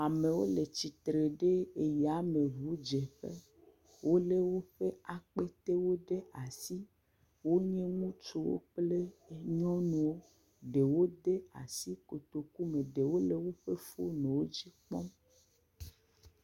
Amewo le tsi tre ɖe eyameŋudzeƒe. Wolé woƒe akpetewo ɖe asi. Wonye ŋutsuwo kple nyɔnuwo. Ɖewo de asi kotokume. Ɖewo le woƒe fonuwo dzi kpɔm.